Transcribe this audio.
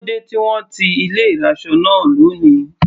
Kílódé tí wọ́n ti ilé ìraṣọ náà lóni.